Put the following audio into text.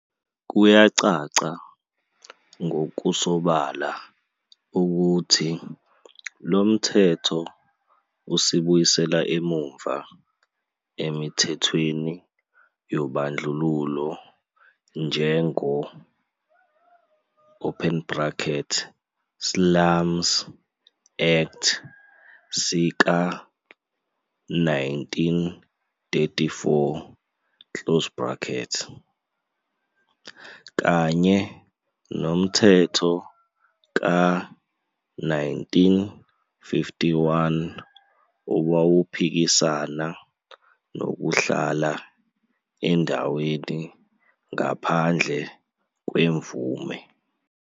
Kuyacaca ngokusobala ukuthi lomthetho usibuyisela emuva emithethweni yobandlululo njengo, Slums Act sika 1934, kanye nomthetho ka 1951 owawuphikisana nokuhlala endaweni ngaphandle kwemvume.